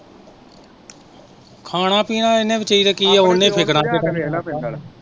ਖਾਣਾ ਪੀਣਾ ਇਹਨੇ